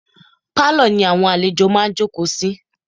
Pálọ̀ ni àwọn àlejò máa ǹ jókòó sí.